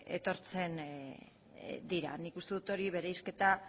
etortzen dira nik uste dut bereizketa